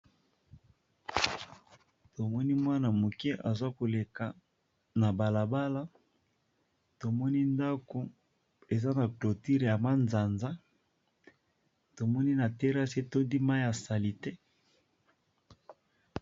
Tomoni mwana moke aza koleka na bala bala, tomoni ndako eza na cloture ya manzanza, tomoni na terasi etondi mayi ya salite.